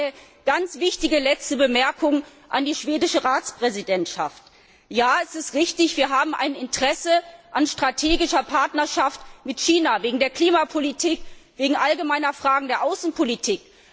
Eine ganz wichtige letzte Bemerkung an die schwedische Ratspräsidentschaft Ja, es ist richtig, wir haben ein Interesse an strategischer Partnerschaft mit China wegen der Klimapolitik, wegen allgemeiner Fragen der Außenpolitik.